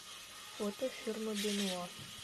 фото ферма бенуа